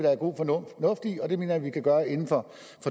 er god fornuft i og det mener vi vi kan gøre inden for